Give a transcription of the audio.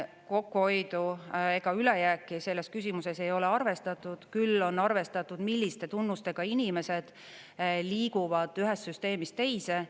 Kokkuhoidu ega ülejääki selles küsimuses ei ole arvestatud, küll on arvestatud, milliste tunnustega inimesed liiguvad ühest süsteemist teise.